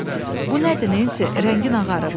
Bu nədir Nensi, rəngin ağarıb.